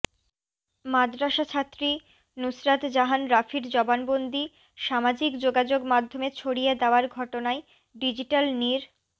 মাদরাসাছাত্রী নুসরাত জাহান রাফির জবানবন্দি সামাজিক যোগাযোগ মাধ্যমে ছড়িয়ে দেয়ার ঘটনায় ডিজিটাল নির